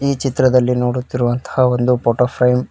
ಈ ಚಿತ್ರದಲ್ಲಿ ನೋಡುತ್ತಿರುವಂತಹ ಒಂದು ಫೋಟೋ ಫ್ರೇಮ್ .